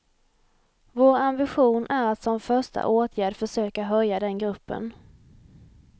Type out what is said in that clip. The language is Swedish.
Vår ambition är att som första åtgärd försöka höja den gruppen.